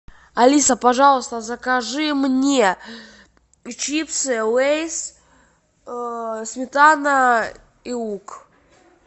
алиса пожалуйста закажи мне чипсы лейс сметана и лук